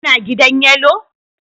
Kuna gidan Yellow